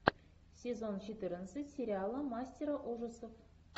сезон четырнадцать сериала мастера ужасов